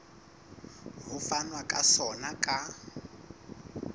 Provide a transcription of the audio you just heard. ho fanwa ka sona ka